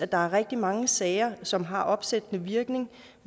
der er rigtig mange sager som har opsættende virkning